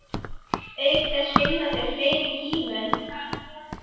Auk þess finnast þar fleiri gímöld.